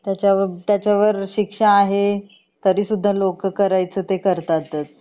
त्याचा त्याचावर शिक्षा आहे तरीसुद्धा लोक कऱ्याच ते करतातच